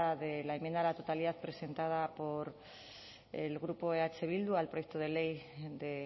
de la enmienda a la totalidad presentada por el grupo eh bildu al proyecto de ley de